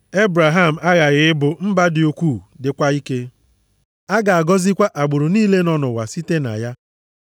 Ebraham aghaghị ịbụ mba dị ukwuu dịkwa ike. A ga-agọzikwa agbụrụ niile nọ nʼụwa site na ya.